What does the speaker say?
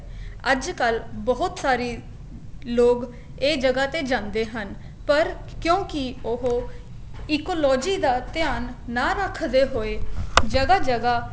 ਅੱਜਕਲ ਬਹੁਤ ਸਾਰੀ ਲੋਗ ਇਹ ਜਗ੍ਹਾ ਤੇ ਜਾਂਦੇ ਹਨ ਪਰ ਕਿਉਂਕਿ ਉਹ ecology ਦਾ ਧਿਆਨ ਨਾ ਰੱਖਦੇ ਹੋਏ ਜਗ੍ਹਾ ਜਗ੍ਹਾ